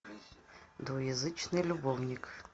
двуязычный любовник